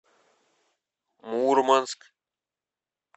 мурманск